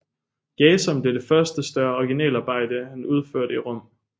Jason blev det første større originalarbejde han udførte i Rom